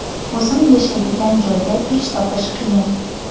O‘zim yashaydigan joyda ish topish qiyin?